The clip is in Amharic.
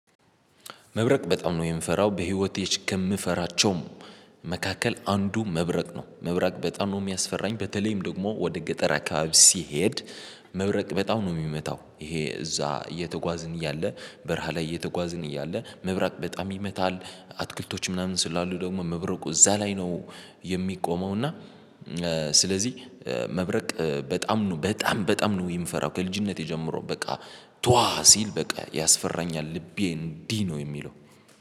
መብረቅ በጣም ነው የምፈራው በህይወቴ ከምፈራቸውም መካከል አንዱ መብረቅ ነው። መብረቅ በጣም ነው የሚያስፈራኝ በተለይም ደግሞ ወደ ገጠር አካባቢ ስሄድ። መብረቅ በጣም ነው የሚመታው ይሄ እዛ እየተጓዝን እያለ በረሃ ላይ እየተጓዝን እያለ መብራቅ በጣም ይመታል። አትክልቶች ምናምን ስላሉ ደግሞ መብረቁ እዛ ላይ ነው የሚቆመው። እና ስለዚህ መብረቅ በጣም ነው በጣም በጣም ነው የምፈራው ከልጅነቴ ጀምሮ በቃ ዷዋ ሲል በቃ ያስፈራኛል ልቤ እንዲህ ነው የሚለው